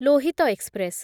Lohit express